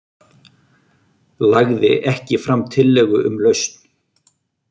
Lagði ekki fram tillögu um lausn